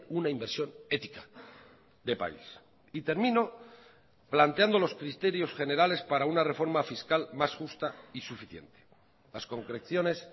una inversión ética de país y termino planteando los criterios generales para una reforma fiscal más justa y suficiente las concreciones